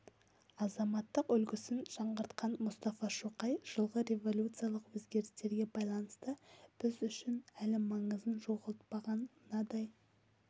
азаматтық үлгісін жаңғыртқан мұстафа шоқай жылғы революциялық өзгерістерге байланысты біз үшін әлі маңызын жоғалтпаған мынадай